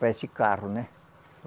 Parece carro, né?